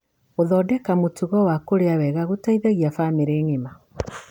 Gũthondeka mũtugo wa kũrĩa wega gũteithagia bamĩrĩ ng'ima.